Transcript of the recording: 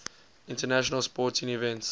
international sporting events